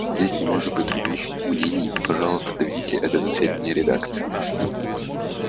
здесь не может быть других мнений и пожалуйста доведите это до сведения редакции